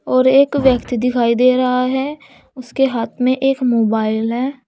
और एक व्यक्ति दिखाई दे रहा है उसके हाथ में एक मोबाइल है।